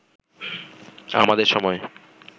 আমাদের সময়